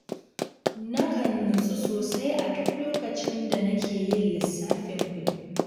Nakan nutsu sosai a duk lokacin da nake yin lissafin kuɗi